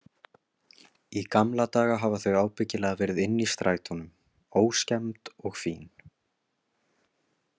Í gamla daga hafa þau ábyggilega verið inni í strætónum, óskemmd og fín.